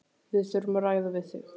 Við þurfum að ræða við þig